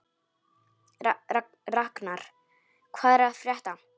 Raknar, hvað er að frétta?